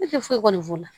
Ne tɛ foyi f'u la